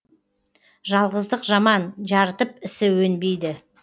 жалғыздық жаман жарытып ісі өнбейді